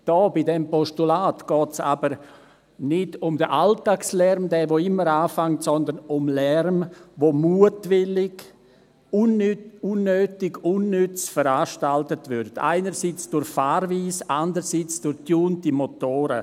Hier, bei diesem Postulat, geht es aber nicht um den Alltagslärm, der immer anfällt, sondern um Lärm, der mutwillig, unnötig, unnütz veranstaltet wird, einerseits durch die Fahrweise, andererseits durch getunte Motoren.